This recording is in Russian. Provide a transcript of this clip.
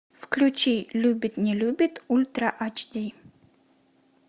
включи любит не любит ультра ач ди